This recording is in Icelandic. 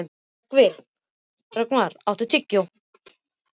Rögnvar, áttu tyggjó?